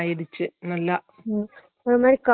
எனக்கு அப்புடித்தான் வந்து நீர் கட்டி